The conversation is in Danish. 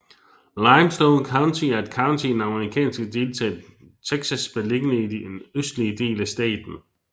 Limestone County er et county i den amerikanske delstat Texas beliggende i den østlige dele af staten